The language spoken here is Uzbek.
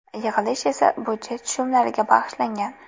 Yig‘ilish esa budjet tushumlariga bag‘ishlangan.